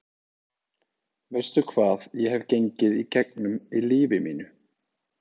Veistu hvað ég hef gengið í gegnum í lífi mínu?